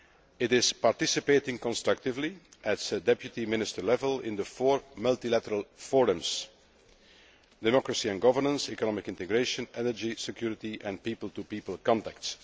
It is participating constructively at deputy minister level in the four multilateral forums democracy and governance, economic integration, energy security and people to people contacts.